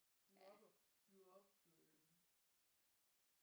Vi var oppe og vi var oppe øh